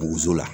Bozo la